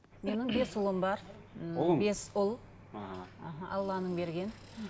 менің бес ұлым бар бес ұл алланың берген